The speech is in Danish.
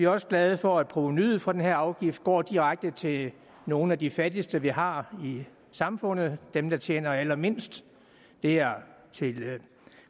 også glade for at provenuet fra den her afgift går direkte til nogle af de fattigste vi har i samfundet dem der tjener allermindst det er til